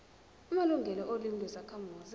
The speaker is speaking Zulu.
amalungelo olimi lwezakhamuzi